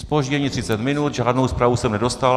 Zpoždění 30 minut, žádnou zprávu jsem nedostal.